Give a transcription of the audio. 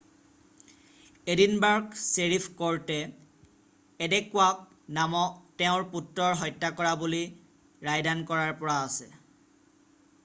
Edinburgh sheriff কৰ্টে এডেক্য়ৱাক তেওঁৰ পুত্ৰৰ হত্যা কৰা বুলি ৰায়দান কৰাৰ পৰা আছে